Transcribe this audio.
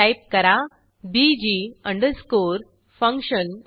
type करा BG underscore function ampersand